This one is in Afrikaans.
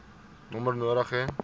nommer nodig hê